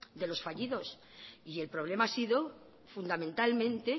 de los fallidos y el problema ha sido fundamentalmente